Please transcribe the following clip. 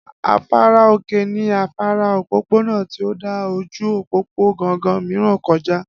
Afárá òkè ní afárá òpópónà tí ó dà ojú òpópónà gangan mìíràn kọ já